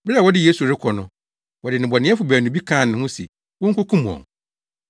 Bere a wɔde Yesu rekɔ no, wɔde nnebɔneyɛfo baanu bi kaa ne ho se wonkokum wɔn.